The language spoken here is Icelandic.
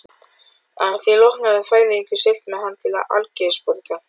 Að því loknu hafði Færeyingurinn siglt með hann til Algeirsborgar.